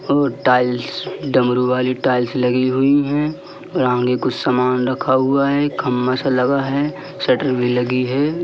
और टाइल डमरू वाली टाइल लगी हुई है। सामने कुछ सामान रखा हुआ है खंभा सा लगा है शटर भी लगा है।